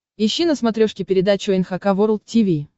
ищи на смотрешке передачу эн эйч кей волд ти ви